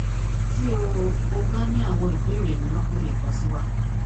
ti o o ba ni awọn ibeere miiran o le kan si wa